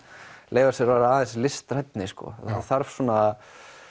leyfa sér að vera aðeins listrænni sko það þarf svona